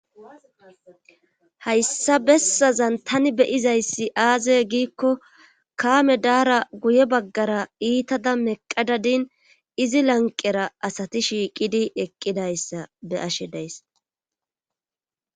Hayssa bessazan tani beyizayssi aaze giikko kaame daara guye baggara iitada meqqadadin izi lanqera asati shiiqidi eqqidayssa be ashe days